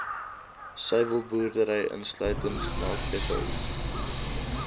suiwelboerdery insluitend melkdepots